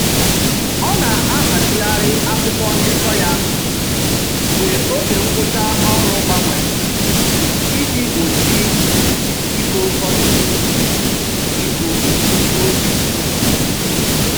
Ọ na-ahazigharị akwụkwọ ndekọ ya mgbe oge ngwụcha ọrụ gbanwere iji gbochi ịbo ọtụtụ ibu n'otu ụbọchị.